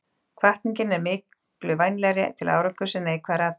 Hvatning er miklu vænlegri til árangurs en neikvæðar athugasemdir.